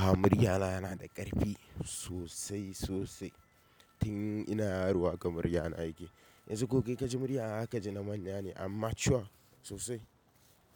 Ah muryana yana da ƙarfi sosai sosai tun ina yaro haka muryana yake. Yanzu ko kai kaji muryana haka ji namanya ne amma mature sosai.